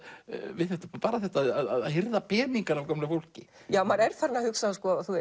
við bara þetta að hirða peningana af gömlu fólki maður er farinn að hugsa